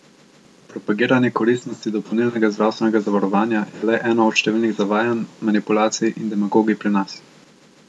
Propagiranje koristnosti dopolnilnega zdravstvenega zavarovanja je le eno od številnih zavajanj, manipulacij in demagogij pri nas.